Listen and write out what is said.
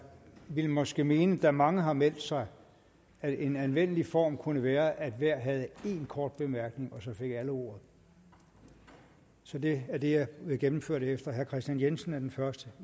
vil måske mene da mange har meldt sig at en anvendelig form kunne være at hver havde en kort bemærkning og så fik alle ordet så det er det jeg vil gennemføre det efter og herre kristian jensen er den første